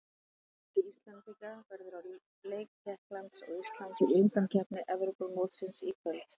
Mikill fjöldi Íslendinga verður á leik Tékklands og Íslands í undankeppni Evrópumótsins í kvöld.